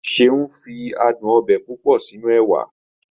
Seun fi adùn ọbẹ̀ púpọ̀ sínú ẹwà